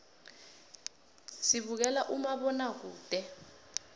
sibukela umabonakude